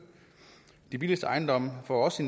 de billigste ejendomme får også